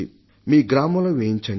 మీ గ్రామంలో వేయించండి